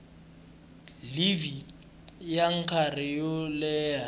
livhi ya nkarhi wo leha